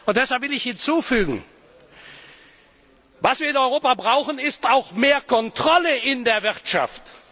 Deshalb will ich hinzufügen Was wir in Europa brauchen, ist auch mehr Kontrolle in der Wirtschaft.